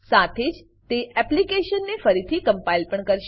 સાથે જ તે એપ્લીકેશનને ફરીથી કમ્પાઈલ પણ કરશે